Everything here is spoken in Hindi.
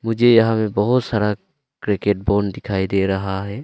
मुझे यहां में बहोत सारा क्रिकेट बॉल दिखाई दे रहा है।